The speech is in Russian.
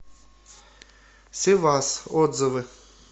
севас отзывы